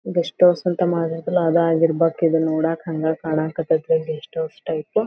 Guest house ಅಂತ ಮಾಡ್ಬೇಕಲ್ಲ ಅದಾಗಿರ್ಬೇಕು ಇದ ನೋಡಕ್ ಹಂಗ ಕಣಕ್ ಹತೈತಿ ಗೆಸ್ಟ್ ಹೌಸ್ ಟೈಪ್ .